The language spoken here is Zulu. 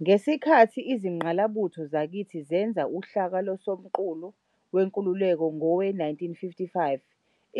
Ngesikhathi izingqalabutho zakithi zenza uhlaka loSomqulu Wenkululeko ngowe-1955,